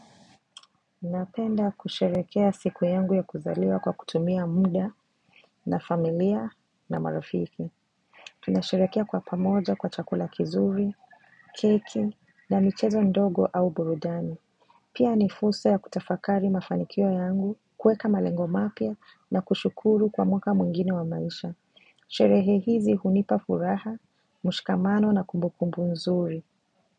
Napenda kusherekea siku yangu ya kuzaliwa kwa kutumia muda na familia na marafiki Tunasherekea kwa pamoja kwa chakula kizuri, keki na michezo ndogo au burudani Pia nifursa ya kutafakari mafanikio yangu kueka malengo mapya na kushukuru kwa mwaka mwingine wa maisha Sherehe hizi hunipa furaha, mushkamano na kumbukumbu nzuri.